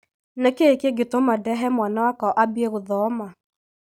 nïkïĩ kĩngïtũma ndehe mwana wakwa ambie guthoma?